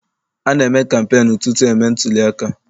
A na-eme kampeenu tutu e mee ntuliaka.